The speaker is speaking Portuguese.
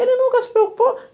Ele nunca se preocupou.